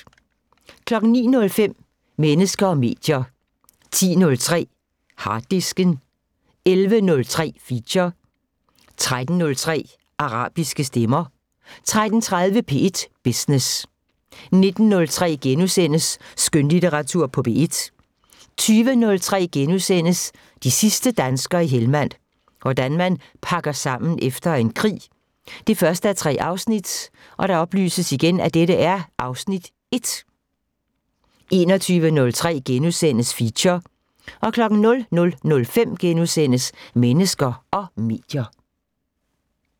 09:05: Mennesker og medier 10:03: Harddisken 11:03: Feature 13:03: Arabiske stemmer 13:30: P1 Business 19:03: Skønlitteratur på P1 * 20:03: De sidste danskere i Helmand – hvordan man pakker sammen efter en krig 1:3 (Afs. 1)* 21:03: Feature * 00:05: Mennesker og medier *